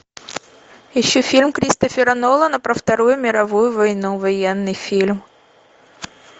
ищу фильм кристофера нолана про вторую мировую войну военный фильм